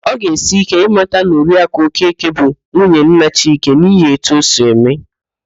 Ọ ga-esi íké ịmata na Oriakụ Okeke bụ nwunye nna Chike n'ihi etu o si eme ya